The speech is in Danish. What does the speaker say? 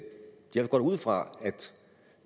jeg går da ud fra